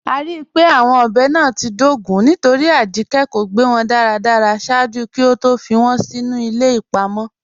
A ríí pé awọn ọbẹ́ náà ti dógún nítorí Ajíkẹ̀ kò gbẹ́ wọn daradara ṣaaju kí ó tó fí wọn sínu ilẹ̀ ipa mọ.